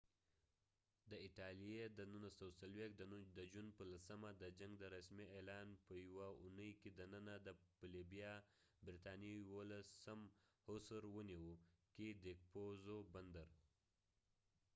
، د ایټالیې د 1940 د جون په 10 د جنګ د رسمی اعلان په یوه اوونی کې دننه د برطانیې 11 یوولسم هوسر hussar په لیبیا کې ديکپوزو بندرcapuzzo fort ونیوه